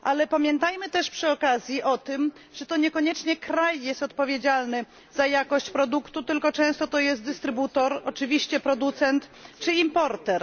Pamiętajmy też przy okazji o tym, że to niekoniecznie kraj jest odpowiedzialny za jakość produktu, tylko często odpowiedzialny jest dystrybutor, oczywiście producent czy importer.